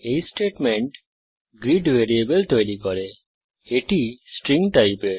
এই statement greet variable তৈরী করে এটি স্ট্রিং টাইপের